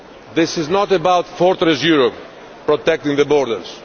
This is not about Fortress Europe, protecting the borders